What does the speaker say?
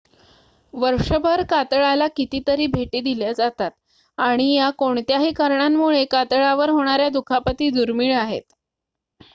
वर्षभर कातळाला कितीतरी भेटी दिल्या जातात आणि या कोणत्याही कारणांमुळे कातळावर होणाऱ्या दुखापती दुर्मीळ आहेत